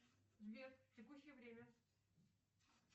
сбер текущее время